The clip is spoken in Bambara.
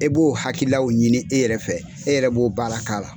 E b'o hakililaw ɲini e yɛrɛ fɛ, e yɛrɛ b'o baara k'a la.